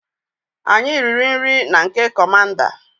Anyi riri NRI na nke commander